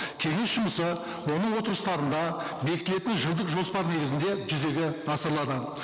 кеңес жұмысы оның отырыстарында бекітілетін жылдық жоспар негізінде жүзеге асырылады